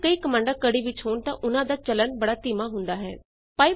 ਨਾਲੇ ਜੇ ਕਈ ਕਮਾੰਡਾਂ ਕੜੀ ਵਿੱਚ ਹੋਣ ਤਾਂ ਉਨਾਂ ਦਾ ਚਲਨ ਬੜਾ ਧੀਮਾ ਹੁੰਦਾ ਹੈ